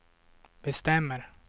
bestämmer